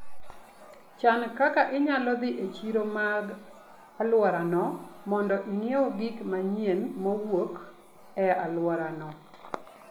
Chan kaka inyalo dhi e chiro mag alworano mondo ing'iew gik manyien mowuok e alworano.